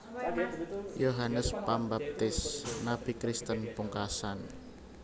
Yohanes Pambaptis nabi Kristen pungkasan